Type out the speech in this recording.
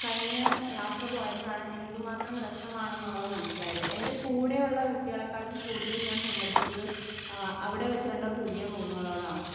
Speaker 1 കഴിഞ്ഞ യാത്ര പോയപ്പഴാണ് എന്തുമാത്രം രാസമാണെന്നുള്ളത് മനസ്സിലായത് എൻ്റെ കൂടെയുള്ള വ്യക്തികളെക്കാളും കൂടുതൽ ഞാൻ സംവധിച്ചത് അവിടെവെച്ചുകണ്ട പുതിയ മുഖങ്ങളോടാണ്.